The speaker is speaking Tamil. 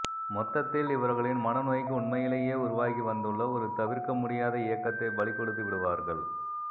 மொத்தத்தில் இவர்களின் மனநோய்க்கு உண்மையிலேயே உருவாகிவந்துள்ள ஒரு தவிர்க்கமுடியாத இயக்கத்தைப் பலிகொடுத்துவிடுவார்கள்